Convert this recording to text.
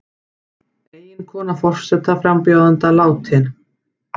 Eiginkona forsetaframbjóðanda látin